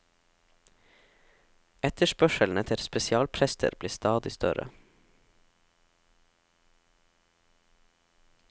Etterspørselen etter spesialprester blir stadig større.